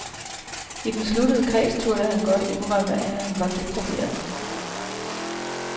I den sluttede kreds turde han godt indrømme, at han var deprimeret.